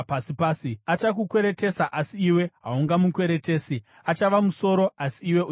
Achakukweretesa, asi iwe haungamukweretesi. Achava musoro asi iwe uchava muswe.